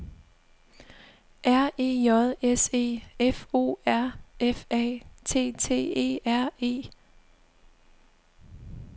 R E J S E F O R F A T T E R E